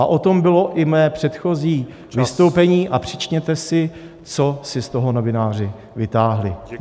A o tom bylo i mé předchozí vystoupení, a přečtěte si, co si z toho novináři vytáhli.